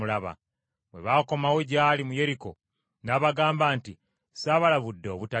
Bwe bakomawo gy’ali mu Yeriko, n’abagamba nti, “Saabalabudde obutagenda?”